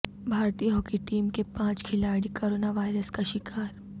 بھارتی hockey team کے پانچ کھلاڑی کرونا وائرس کا شکار